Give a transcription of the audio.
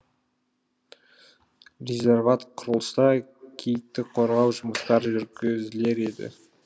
резерват құрылса киікті қорғау жұмыстар жүргізілер еді